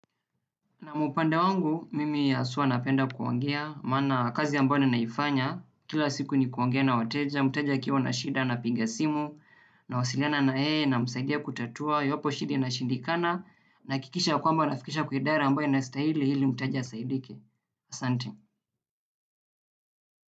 Naam upande wangu, mimi haswa napenda kuongea, maana kazi ambayo ninaifanya, kila siku ni kuongea na wateja, mteja akiwa na shida napiga simu, nawasiliana na yeye, namsaidia kutatua, iwapo shida inashindikana, nahakikisha ya kwamba nafikisha kwa idara ambayo inastahili, ili mteja asaidike. Asante.